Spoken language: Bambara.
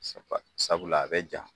Sabula a bɛ ja